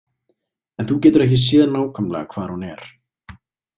En þú getur ekki séð nákvæmlega hvar hún er